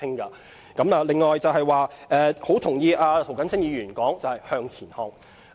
此外，我同意涂謹申議員說要向前看。